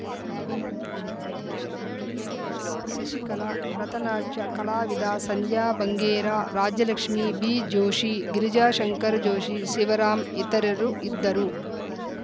civil ನ್ಯಾಯಾಧೀಶೆ ಎಂಎಸ್‌ಶಶಿಕಲಾ Bharata ನಾಟ್ಯ ಕಲಾವಿದ ಸಂಧ್ಯಾ ಬಂಗೇರಾ ರಾಜಲಕ್ಷ್ಮೀ ಬಿಜೋಷಿ ಗಿರಿಜಾಶಂಕರ್‌ ಜೋಷಿ ಶಿವರಾಮ್‌ ಇತರರು ಇದ್ದರು